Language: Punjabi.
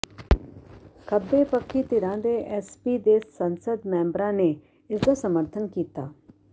ਖੱਬੇਪੱਖੀ ਧਿਰਾਂ ਤੇ ਐਸਪੀ ਦੇ ਸੰਸਦ ਮੈਂਬਰਾਂ ਨੇ ਇਸ ਦਾ ਸਮਰਥਨ ਕੀਤਾ